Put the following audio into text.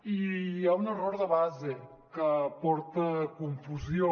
i hi ha un error de base que porta a confusió